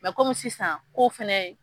kɔmi sisan kow fɛnɛ